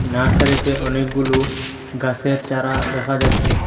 নার্সারিতে অনেকগুলো গাসের চারা দেখা যাচ্ছে।